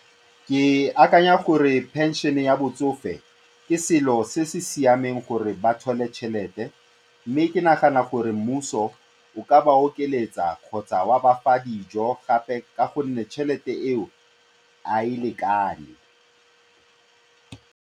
Ke akanya gore pension-e ya botsofe ke selo se se siameng gore ba tšhelete mme ke nagana gore mmuso o ka ba okeletsa kgotsa wa ba fa dijo gape ka gonne tšhelete eo, ga e lekane.